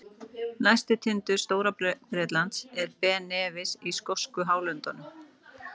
Hæsti tindur Stóra-Bretlands er Ben Nevis í skosku hálöndunum.